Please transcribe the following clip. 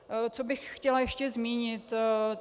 Co bych chtěla ještě zmínit.